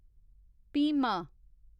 Bhima